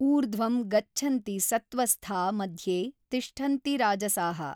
ಊರ್ಧ್ವಂ ಗಚ್ಛನ್ತಿ ಸತ್ತ್ವಸ್ಥಾ ಮಧ್ಯೇ ತಿಷ್ಠನ್ತಿ ರಾಜಸಾಃ।